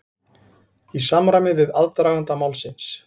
Í samræmi við aðdraganda málsins